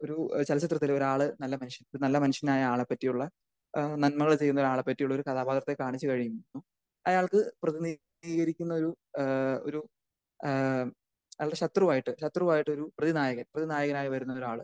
ഒരു ചലച്ചിത്രത്തിൽ ഒരാള് നല്ല മനുഷ്യൻ ഒരുനല്ല മനുഷ്യനായ ആളെ പറ്റിയുള്ള ഏഹ് നന്മകൾ ചെയ്യുന്ന ഒരാളെ പറ്റിയുള്ള ഒരു കഥാപാത്രത്തെ കാണിച്ചു കഴിഞ്ഞു അയാൾക്ക് പ്രതിനിതീകരിക്കുന്ന ഒരു ഏഹ്‌ ഒരു ഏഹ് അവര് ശത്രുവായിട്ട് ശത്രുവായിട്ട് ഒരു നായകൻ ഒരു നായകനായി വരുന്ന ഒരാള്